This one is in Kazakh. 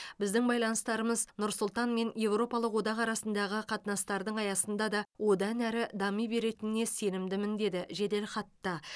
біздің байланыстарымыз нұр сұлтан мен еуропалық одақ арасындағы қатынастардың аясында да одан әрі дами беретініне сенімдімін деді жеделхатта